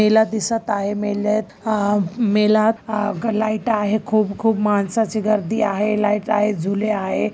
मेला दिसत आहे. मेल्यात अम मेला लाईट आहे. खूप खूप माणसाची गर्दी आहे. लाईट आहे. झुले आहे.